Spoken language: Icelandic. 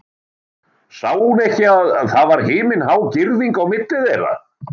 Sá hún ekki að það var himinhá girðing á milli þeirra?